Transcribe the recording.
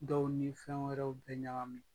Dɔw ni fɛn wɛrɛw bɛ ɲagami.